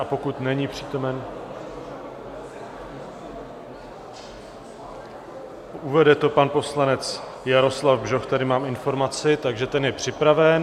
A pokud není přítomen, uvede to pan poslanec Jaroslav Bžoch, tady mám informaci, takže ten je připraven.